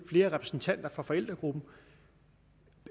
flere repræsentanter fra forældregruppen